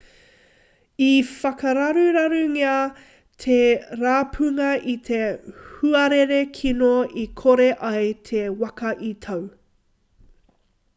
i whakararurarungia te rapunga e te huarere kino i kore ai te waka i tau